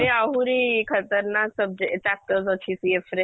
ଏବେ ଆହୁରି subject chapters ଅଛି CF ରେ